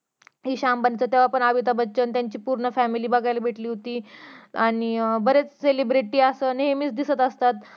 इशा अंबानींचा तेव्हा पण अमिताभ बच्चन आणि त्याची पूर्ण फॅमिली बघायला भेटली होती आणि अं बरेच celebrity असं नेहमीच दिसत असतात